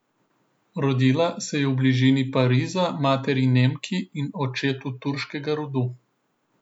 Rodila se je v bližini Pariza materi Nemki in očetu turškega rodu.